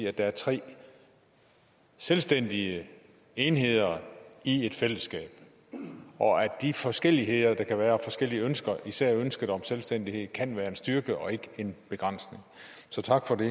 at der er tre selvstændige enheder i et fællesskab og at de forskelligheder der kan være især ønsket om selvstændighed kan være en styrke og ikke en begrænsning så tak for det